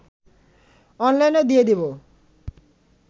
অনলাইনেও দিয়ে দেব